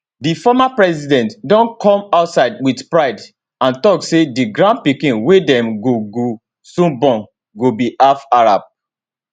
di former president don come outside wit pride and tok say di grandpikin wey dem go go soon born go be half arab